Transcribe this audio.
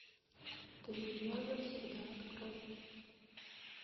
ты и я навсегда открой